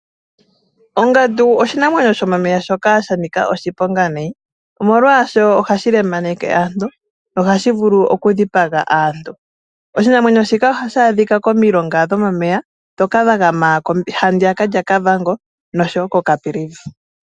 Ongandu oshinamwenyo shomomeya shoka sha nika oshiponga nayi. Molwaashoka ohashi lemaneke aantu sho ohashi vulu oku dhipaga aantu. Oshinamwenyo shika ohashi adhika momilonga shomeya ndhoka dha gama ha ndiyaka lya Kavango no sho woo ko Caprivi.